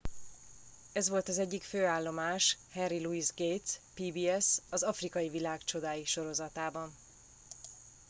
ez volt az egyik fő állomás henry louis gates pbs az afrikai világ csodái sorozatában